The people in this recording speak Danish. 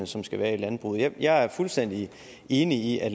som skal være i landbruget jeg er fuldstændig enig i at